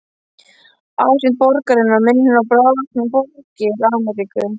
Ásýnd borgarinnar minnir á bráðvaxnar borgir Ameríku.